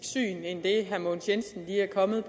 syn end det herre mogens jensen lige er kommet